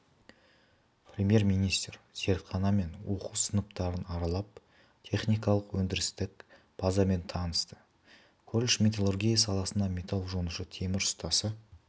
премьер-министр зертхана мен оқу сыныптарын аралап техникалық-өндірістік базамен танысты колледж металлургия саласына металл жонушы темір ұстасы